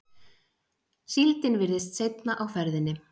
Síldin virðist seinna á ferðinni